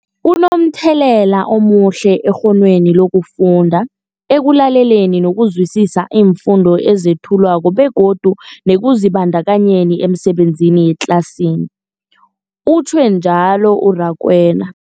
Kunomthelela omuhle ekghonweni lokufunda, ekulaleleni nokuzwisiswa iimfundo ezethulwako begodu nekuzibandakanyeni emisebenzini yangetlasini, utjhwe njalo u-Rakwena.